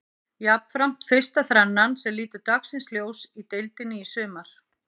Jafnframt fyrsta þrennan sem lítur dagsins ljós í deildinni í sumar.